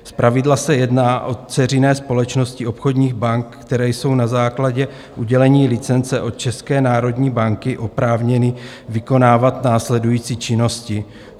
Zpravidla se jedná o dceřiné společnosti obchodních bank, které jsou na základě udělení licence od České národní banky oprávněny vykonávat následující činnosti: